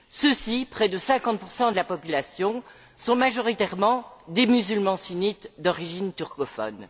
Ceux ci, près de 50 de la population, sont majoritairement des musulmans sunnites d'origine turcophone.